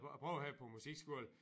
Prøvede her på musikskole